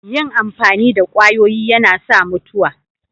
Yin amfani da kwayoyi yana sa mutuwa.